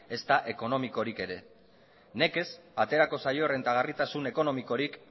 ezta ekonomikorik ere nekez aterako zaio errentagarritasun ekonomikorik